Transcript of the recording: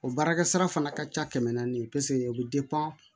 O baarakɛ sira fana ka ca kɛmɛ naani pese o bɛ